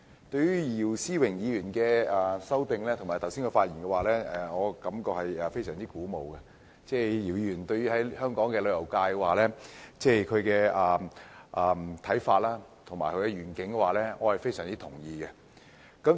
對於姚思榮議員的修正案和他剛才的發言，我感到非常鼓舞，而姚議員對香港旅遊界的看法和願景，我也是非常認同的。